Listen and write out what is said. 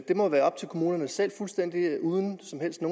det må være op til kommunerne selv fuldstændig uden